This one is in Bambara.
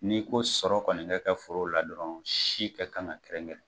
N'i ko sɔrɔ kɔni ka kɛ foro la dɔrɔn si ka kan ka kɛrɛnkɛrɛn.